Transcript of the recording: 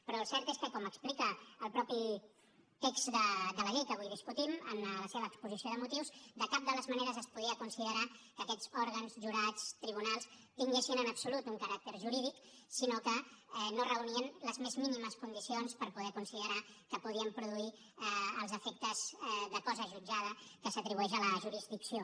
però el cert és que com explica el mateix text de la llei que avui discutim en la seva exposició de motius de cap de les maneres es podia considerar que aquests òrgans jurats tribunals tinguessin en absolut un caràcter jurídic sinó que no reunien les més mínimes condicions per poder considerar que podien produir els efectes de cosa jutjada que s’atribueix a la jurisdicció